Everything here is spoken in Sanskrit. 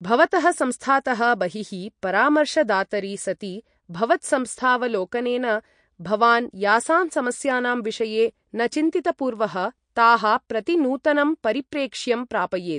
भवतः संस्थातः बहिः परामर्शदातरि सति भवत्संस्थावलोकनेन भवान् यासां समस्यानां विषये न चिन्तितपूर्वः ताः प्रति नूतनं परिप्रेक्ष्यं प्रापयेत्।